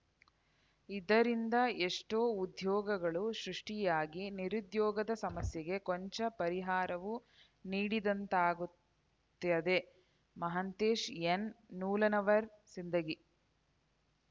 ಇದರಿಂದ ಎಷ್ಟೋ ಉದ್ಯೋಗಗಳು ಸೃಷ್ಟಿಯಾಗಿ ನಿರುದ್ಯೋಗದ ಸಮಸ್ಯೆಗೆ ಕೊಂಚ ಪರಿಹಾರವೂ ನೀಡಿದಂತಾಗುತ್ತದೆ ಮಹಾಂತೇಶ ಎನ್‌ ನೂಲಾನವರ ಸಿಂದಗಿ